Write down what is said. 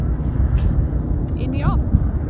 Inn í ofn.